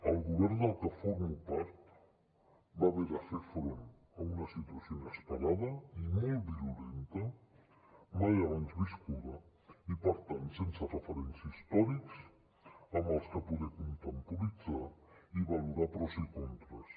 el govern del que formo part va haver de fer front a una situació inesperada i molt virulenta mai abans viscuda i per tant sense referents històrics amb els quals poder contemporitzar i valorar pros i contres